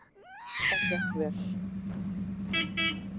Það gekk vel.